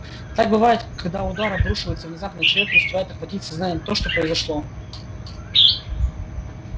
так бывает когда удар обрушивается внезапно и человек не успевает охватить сознанием то что произошло